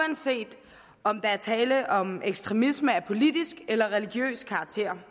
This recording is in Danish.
uanset om der er tale om ekstremisme af politisk eller religiøs karakter